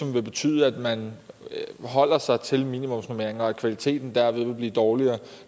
vil betyde at man holder sig til minimumsnormeringen og at kvaliteten derved vil blive dårligere